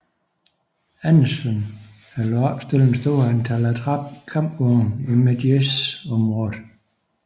Anderson havde ladet opstille et stort antal attrap kampvogne i Medjez området